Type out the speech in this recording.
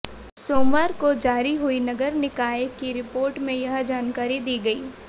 सोमवार को जारी हुई नगर निकाय की रिपोर्ट में यह जानकारी दी गई